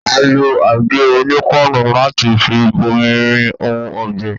A lo àgé-onípáànù láti fi bomi-rin ohun ọ̀gbìn.